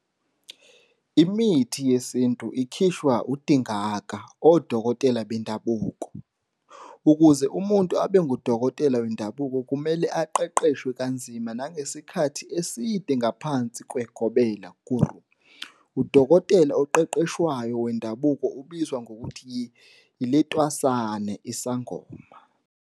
Imithi yesintu ikhishwa uDingaka, odokotela bendabuko. Ukuze umuntu abe ngudokotela wendabuko kumele aqeqeshwe kanzima nangesikhathi eside ngaphansi kweGobela, Guru. Udokotela oqeqeshwayo wendabuko ubizwa ngokuthi yi-letwasane, Sangoma.